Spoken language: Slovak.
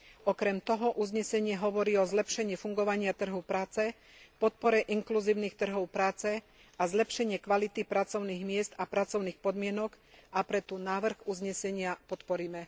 Okrem toho uznesenie hovorí o zlepšení fungovania trhu práce, podpore inkluzívnych trhov práce a zlepšenií kvality pracovných miest a pracovných podmienok, a preto návrh uznesenia podporíme.